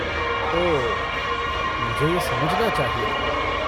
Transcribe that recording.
ओह, मुझे यह समझना चाहिए था।